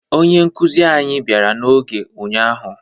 Onye nkụzi anyị bịara n'oge ụnyaahụ